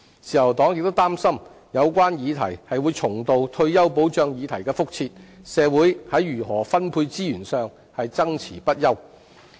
自由黨亦擔心有關議題會重蹈退休保障議題的覆轍，令社會在如何分配資源上爭論不休。